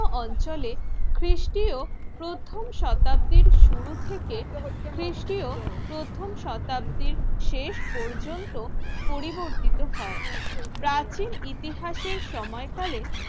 অঞ্চলে খ্রিস্টীয় প্রথম শতাব্দীর শুরু থেকে খ্রিস্টীয় প্রথম শতাব্দীর শেষ পর্যন্ত পরিবর্তিত হয় প্রাচীন ইতিহাসের সময়কালে